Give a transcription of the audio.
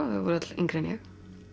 þau voru öll yngri en ég